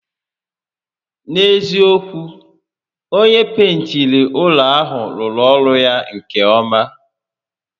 N'eziokwu, onyé pentiri ụlọ a rụrụ ọrụ ya nke ọ́má